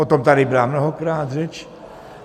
O tom tady byla mnohokrát řeč.